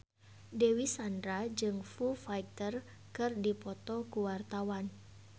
Dewi Sandra jeung Foo Fighter keur dipoto ku wartawan